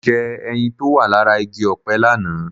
Mo jẹ ẹyin tó wà lára igi ọ̀pẹ lánàá